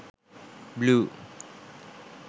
blue